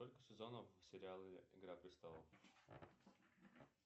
сколько сезонов в сериале игра престолов